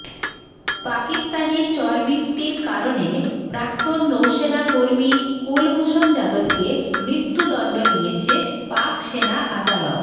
পাকিস্তানে চরবৃত্তির অভিযোগে প্রাক্তন নৌসেনা কর্মী কুলভূষণ যাদবকে মৃত্যুদণ্ড দিয়েছে পাক সেনা আদালত